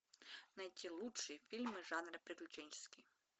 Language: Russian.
найти лучшие фильмы жанра приключенческий